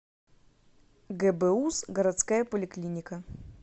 гбуз городская поликлиника